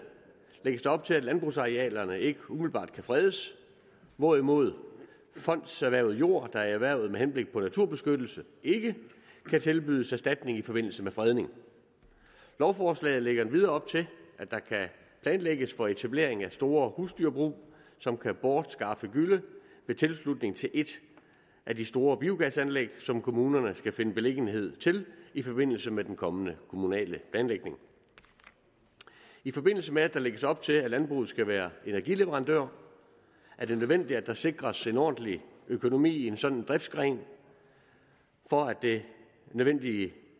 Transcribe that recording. lægges der op til at landbrugsarealerne ikke umiddelbart kan fredes hvorimod ejere af fondserhvervet jord der er erhvervet med henblik på naturbeskyttelse ikke kan tilbydes erstatning i forbindelse med fredning lovforslaget lægger endvidere op til at der kan planlægges for etablering af store husdyrbrug som kan bortskaffe gylle ved tilslutning til et af de store biogasanlæg som kommunerne skal finde beliggenhed til i forbindelse med den kommende kommunale planlægning i forbindelse med at der lægges op til at landbruget skal være energileverandør er det nødvendigt at der sikres en ordentlig økonomi i en sådan driftsgren for at det nødvendige